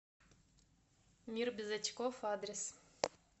мир без очков адрес